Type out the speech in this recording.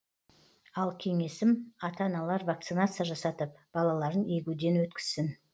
ал кеңесім ата аналар вакцинация жасатып балаларын егуден өткізсін